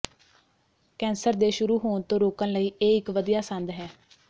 cancer ਦੇ ਸ਼ੁਰੂ ਹੋਣ ਤੋਂ ਰੋਕਣ ਲਈ ਇਹ ਇਕ ਵਧੀਆ ਸੰਦ ਹੈ